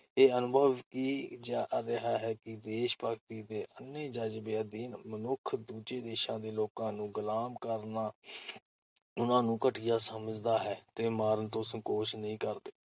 ਇਹ ਅਨੁਭਵ ਕੀ ਜਾ ਰਿਹਾ ਹੈ ਕਿ ਦੇਸ਼-ਭਗਤੀ ਦੇ ਅੰਨ੍ਹੇ ਜਜ਼ਬੇ ਅਧੀਨ ਮਨੁੱਖ ਦੂਜੇ ਦੇਸ਼ਾਂ ਦੇ ਲੋਕਾਂ ਨੂੰ ਗੁਲਾਮ ਕਰਨ ਉਨ੍ਹਾਂ ਨੂੰ ਘਟੀਆ ਸਮਝਦਾ ਤੇ ਮਾਰਨ ਤੋਂ ਸੰਕੋਚ ਨਹੀਂ ਕਰਦੇ ।